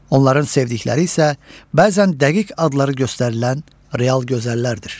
Onların sevdikləri isə bəzən dəqiq adları göstərilən real gözəllərdir.